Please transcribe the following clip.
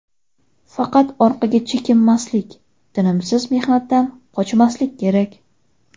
Faqat orqaga chekinmaslik, tinimsiz mehnatdan qochmaslik kerak.